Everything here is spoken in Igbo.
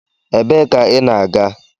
Ebee ka ị na-aga?